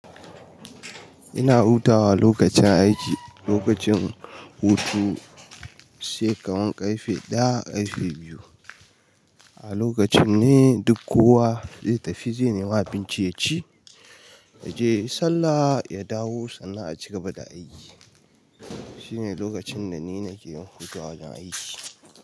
Ina hutawa lokacin aiki, lokacin hutu sai kawan ƙarfe ɗaya ƙarfe biyu. A lokacin ne duk kowa zai tafi zai nema abinci ya ci, ya je sallah, ya dawo sannan a cigaba da aiki. Shine lokacin da ni nake yin hutu a wajen aiki.